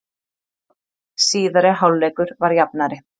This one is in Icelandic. Síðari hálfleikur var jafnari